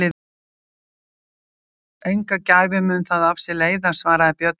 Enga gæfu mun það af sér leiða, svaraði Björn og gekk til verka sinna.